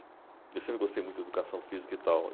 Eu sempre gostei muito de educação física e tal.